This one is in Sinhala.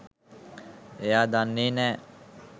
එයා දන්නේ නෑ